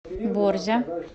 борзя